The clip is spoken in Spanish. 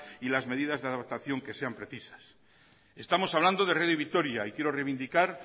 y las medidas de adaptación que sean precisas estamos hablando de radio vitoria y quiero reivindicar